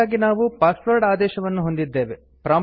ಇದಕ್ಕಾಗಿ ನಾವು ಪಾಸ್ವಾಡ್ ಆದೇಶವನ್ನು ಹೊಂದಿದ್ದೇವೆ